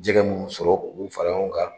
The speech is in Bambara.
Jɛgɛgɛ mun bɛ sɔrɔ, u b'u fara ɲɔgɔn kan.